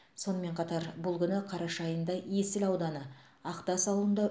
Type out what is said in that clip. сонымен қатар бұл күні қараша айында есіл ауданы ақтас ауылында